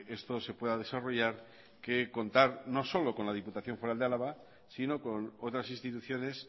esto se pueda desarrollar que contar no solo con la diputación foral de álava sino con otras instituciones